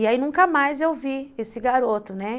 E aí nunca mais eu vi esse garoto, né.